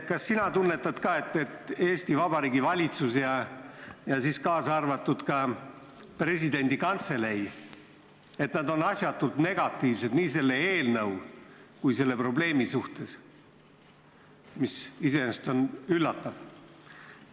Kas sina tunnetad ka, et Eesti Vabariigi valitsus ja presidendi kantselei on asjatult negatiivsed nii selle eelnõu kui ka selle probleemi suhtes, mis iseenesest on üllatav?